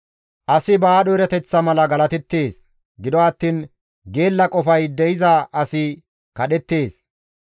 Asi ba aadho erateththa mala galateettes; gido attiin geella qofay de7iza asi kadhettees.